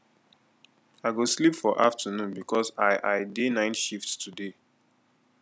i go sleep for afternoon because i i dey night shift today